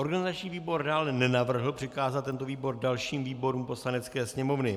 Organizační výbor dále nenavrhl přikázat tento tisk dalším výborům Poslanecké sněmovny.